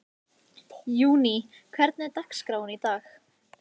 Júní, hvernig er dagskráin í dag?